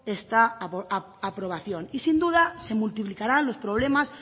esta aprobación y sin duda se multiplicarán los problemas